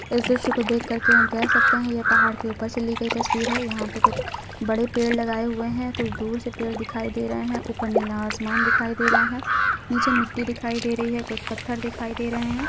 इस दृश्य को देख कर हम कह सकते हैं ये पहाड़ के ऊपर से ली गई तस्वीर है यहां पे कुछ बड़े पेड़ लगाए हुए हैं कुछ दूर से पेड़ दिखाई दे रहे हैं ऊपर नीला आसमान दिखाई दे रहा है नीचे मिट्टी दिखाई दे रही है कुछ पत्थर दिखाई रहे हैं।